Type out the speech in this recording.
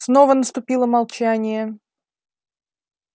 снова наступило молчание